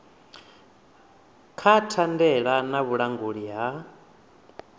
ha thandela na vhulanguli ha